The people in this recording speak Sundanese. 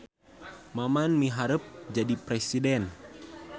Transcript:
Maman miharep jadi presiden